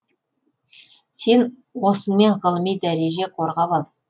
сен осыңмен ғылыми дәреже қорғап ал